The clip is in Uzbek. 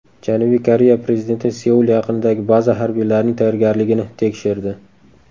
Janubiy Koreya prezidenti Seul yaqinidagi baza harbiylarining tayyorgarligini tekshirdi.